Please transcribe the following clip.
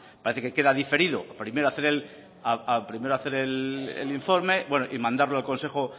parece que queda diferido primero hacer el informe y mandarlo al consejo